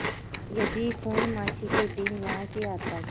यदि पूर्णमासी के दिन यहाँ की यात्रा की